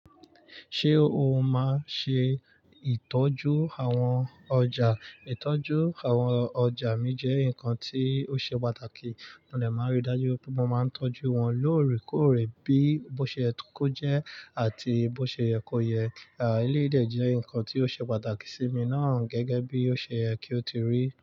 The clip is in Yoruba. Ṣé o máa ṣe ìtọ́jú àwọn ọjà? Ìtọ́jú àwọn ọjà mi jẹ́ nǹkan tí ó ṣe pàtàkì, mo dè máa rí dájú pé mo máa ń tọ́jú wọn lóòrèkóòrè, bí ó ṣe ko jẹ́ àti bó ṣe yẹ kó yẹ. Eléyìí jẹ́ nǹkan tí ó ṣe pàtàkì sí mi náà, gẹ́gẹ́ bí ó ṣe yẹ kí ó ti rí.